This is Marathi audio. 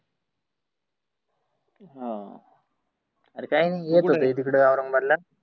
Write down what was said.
हाव आरे काही नाही येत येत होतो तीकड औरंगाबादला.